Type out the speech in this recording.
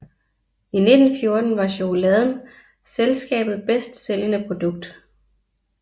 I 1914 var chokoladen selskabet bedst sælgende produkt